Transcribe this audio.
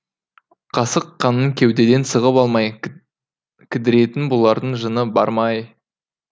қасық қанын кеудеден сығып алмай кідіретін бұлардың жыны бар ма ай